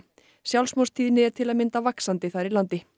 sjálfsmorðstíðni er til að mynda vaxandi þar í landi